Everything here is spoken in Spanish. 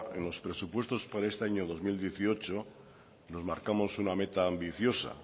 en los presupuestos para este año dos mil dieciocho nos marcamos una meta ambiciosa